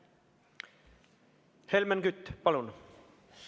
Helmen Kütt, palun!